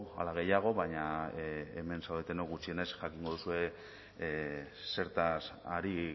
ala gehiago baina hemen zaudetenok gutxienez jakingo duzue zertaz ari